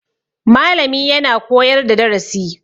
Malami yana koyar da darasi